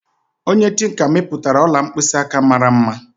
Onye tinka mepụtara ọla mkpịsị aka mara mma